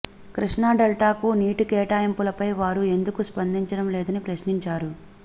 కృష్ణా డెల్టాకు నీటి కేటాయింపులపై వారు ఎందుకు స్పందించడం లేదని ప్రశ్నించారు